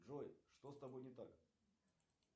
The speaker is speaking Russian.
джой что с тобой не так